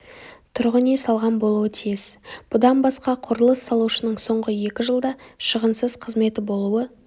тұрғын үй салған болуы тиіс бұдан басқа құрылыс салушының соңғы екі жылда шығынсыз қызметі болуы